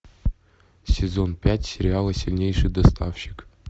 сезон пять сериала сильнейший доставщик